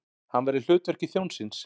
Hann var í hlutverki þjónsins.